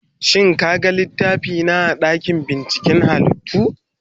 Shin ka gan littafina a dakin binciken halittu?